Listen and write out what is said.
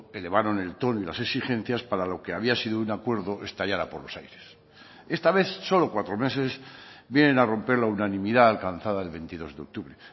elevaron el tono y las exigencias para lo que había sido un acuerdo estallará por los aires esta vez solo cuatro meses vienen a romper la unanimidad alcanzada el veintidós de octubre